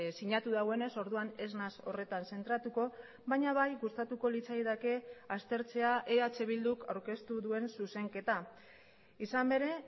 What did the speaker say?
sinatu duenez orduan ez naiz horretan zentratuko baina bai gustatuko litzaidake aztertzea eh bilduk aurkeztu duen zuzenketa izan ere